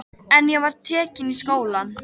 En ég var tekin í skólann.